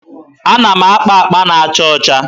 Ana m akpa akpa na-acha ọcha.